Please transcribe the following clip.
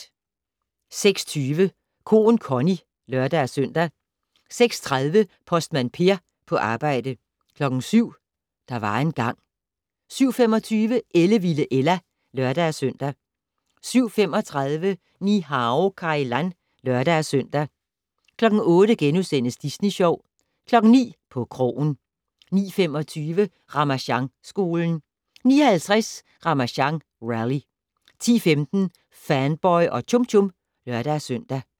06:20: Koen Connie (lør-søn) 06:30: Postmand Per på arbejde 07:00: Der var engang ... 07:25: Ellevilde Ella (lør-søn) 07:35: Ni-Hao Kai Lan (lør-søn) 08:00: Disney Sjov * 09:00: På krogen 09:25: Ramasjangskolen 09:50: Ramasjang Rally 10:15: Fanboy og Chum Chum (lør-søn)